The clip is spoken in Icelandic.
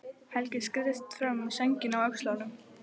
Helgi skreiðist fram með sængina á öxlunum.